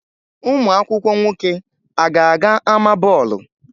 Ụmụ akwụkwọ nwoke a ga-aga ámá bọọlụ?